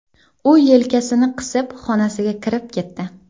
U yelkasini qisib, xonasiga kirib ketdi.